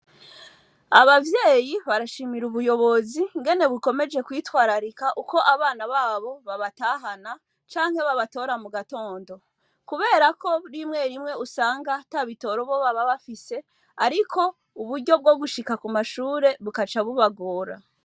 Abavyeyi barashimira ubuyobozi ingene bukomeje kwitwararika uko abana ba bo babatahana canke babatora mu gatondo. Kubera ko rimwerimwe usanga ata bitoro bo baba bafise, ariko uburyo bwo gushika ku mashure bugaca bubagora.